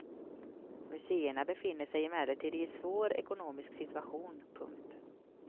Museerna befinner sig emellertid i en svår ekonomisk situation. punkt